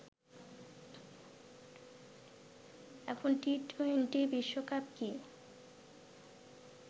এখন টি-টোয়েন্টি বিশ্বকাপ কি